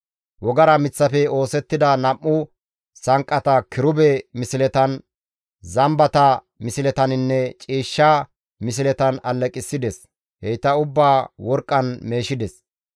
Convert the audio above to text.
Wogara miththafe oosettida nam7u sanqqata kirube misletan, zambata misletaninne ciishsha misletan alleqissides; heyta ubbaa worqqan meeshides.